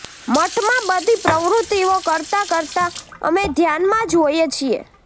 મઠમાં બધી પ્રવૃત્તિઓ કરતા કરતા અમે ધ્યાનમાં જ હોઈએ છીએ